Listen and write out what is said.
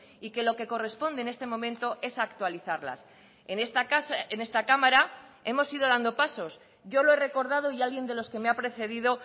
y que lo que corresponde en este momento es actualizarlas en esta casa en esta cámara hemos ido dando pasos yo lo he recordado y alguien de los que me ha precedido